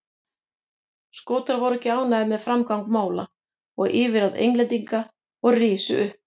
Skotar voru ekki ánægðir með framgang mála og yfirráð Englendinga og risu upp.